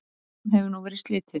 Viðræðunum hefur nú verið slitið